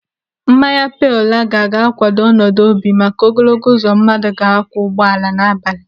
Mmanya pale laga ga-kwado ọnọdụ obi maka ogologo uzo mmadụ ga-akwọ ụgbọala n'abalị.